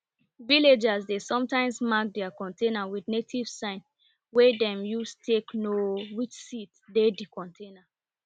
villagers dey sometimes mark their container with native sign wey dem use take know which seed dey di container